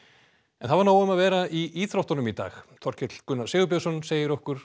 það var nóg um að vera í íþróttunum í dag Þorkell Gunnar Sigurbjörnsson segir okkur